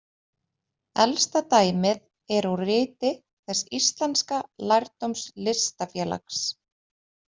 Elsta dæmið er úr Riti þess íslenska lærdómslistafélags.